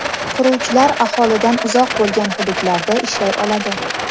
Quruvchilar aholidan uzoq bo‘lgan hududlarda ishlay oladi.